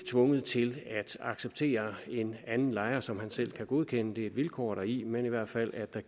tvunget til at acceptere en anden lejer som han dog selv kan godkende det er et vilkår deri men i hvert fald